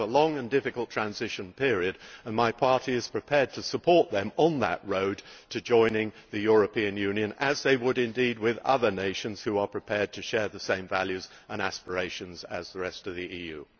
It has a long and difficult transition period, and my party is prepared to support it on that road to joining the European Union, as it would indeed with other nations which are prepared to share the same values and aspirations as the rest of the EU.